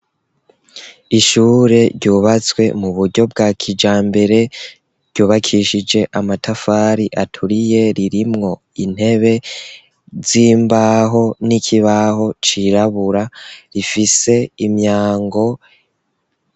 Ishure ryubatswe mu buryo bwa kijambere, ryubakishije amatafari aturiye, ririmwo intebe z'imbaho n'ikibaho cirabura, rifise imyango.